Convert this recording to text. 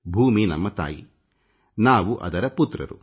ಭೂಮಿ ನಮ್ಮ ತಾಯಿ ಮತ್ತು ನಾವು ಅವಳ ಮಕ್ಕಳು